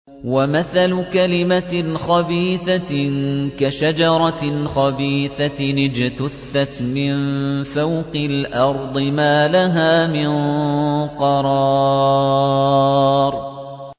وَمَثَلُ كَلِمَةٍ خَبِيثَةٍ كَشَجَرَةٍ خَبِيثَةٍ اجْتُثَّتْ مِن فَوْقِ الْأَرْضِ مَا لَهَا مِن قَرَارٍ